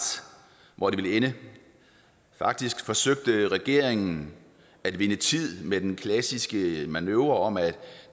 hvor det ville ende faktisk forsøgte regeringen at vinde tid med den klassiske manøvre om at